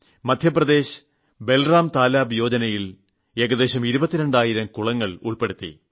മധ്യപ്രദേശ് ബൽറാം താലാബ് യോജനയിൽ ഏകദേശം 22000 കുളങ്ങൾ ഉൾപ്പെടുത്തി